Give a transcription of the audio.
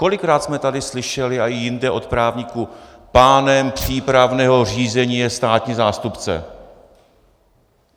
Kolikrát jsme tady slyšeli a i jinde od právníků: pánem přípravného řízení je státní zástupce.